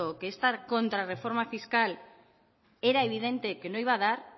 que esta contrarreforma fiscal era evidente que no iba a dar